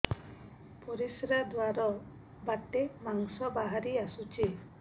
ପରିଶ୍ରା ଦ୍ୱାର ବାଟେ ମାଂସ ବାହାରି ଆସୁଛି